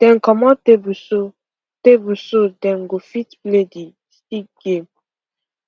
dem comot table so table so dem go fit play the stick game